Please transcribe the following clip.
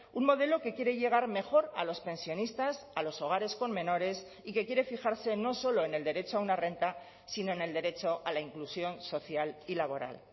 un modelo que quiere llegar mejor a los pensionistas a los hogares con menores y que quiere fijarse no solo en el derecho a una renta sino en el derecho a la inclusión social y laboral